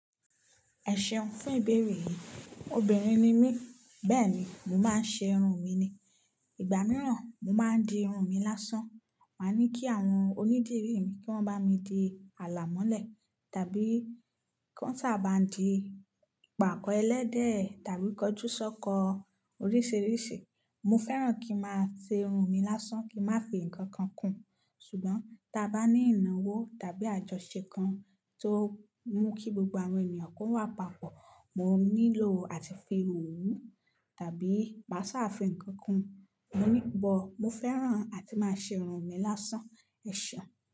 Ẹ̀ seun fún ìbéèrè yìí, obìnrin ni mí, bẹ́ẹ̀ni, mo máa ń ṣe irun mi ni. Ìgbà mìíràn, mo máa ń di irun mi lásán, màá ní kí àwọn onídìrií mi kí wọ́n bá mi di àlàmọ́lẹ̀ tàbí kan sa baa ń dii ipàkọ́ ẹlẹ́dẹ̀ tàbí kọjúsọ́kọ oríṣiríṣi. Mo fẹ́ràn kí n a máa ṣe irun mi lásán kí n máa fi ǹkan kan kún, ṣùgbọ́n ta bá ní ìnáwó tàbí àjọṣe kan tó mú kí gbogbo àwọn ènìyàn kó wà papọ̀, mo nílò àti fi òwú tàbí máa sà fi ǹnkan kún. Mo ní but, mo fẹ́ràn àti máa ṣe irun mi lásán. Ẹ̀ṣẹ̀un.